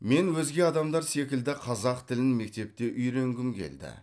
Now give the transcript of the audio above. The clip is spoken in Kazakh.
мен өзге адамдар секілді қазақ тілін мектепте үйренгім келді